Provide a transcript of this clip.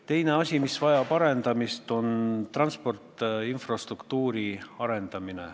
Teine asi, mis vajab arendamist, on transport, infrastruktuur.